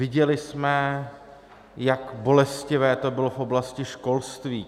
Viděli jsme, jak bolestivé to bylo v oblasti školství.